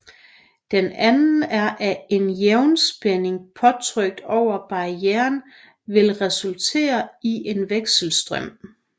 Den anden er at en jævnspænding påtrykt over barrieren vil resultere i en vekselstrøm